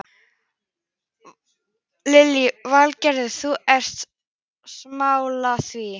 Lillý Valgerður: Þú ert sammála því?